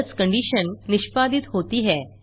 else condition निष्पादित होती है